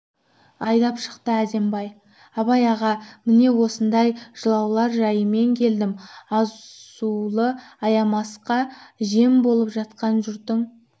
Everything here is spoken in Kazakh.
айдап шықты әзімбай абай аға міне осындай жылаулар жайымен келдім азулы аямасқа жем боп жатқан жұртың